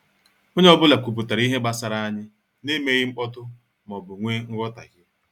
Onye ọ bụla kwupụtara ihe gbasara anyị na emeghị mkpọtụ maọbụ wee nghotahio